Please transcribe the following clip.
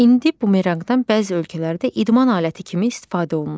İndi bumeranqdan bəzi ölkələrdə idman aləti kimi istifadə olunur.